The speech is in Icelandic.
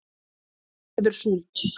verður súld